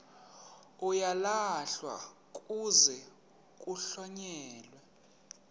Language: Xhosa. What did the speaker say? uyalahlwa kuze kuhlonyelwe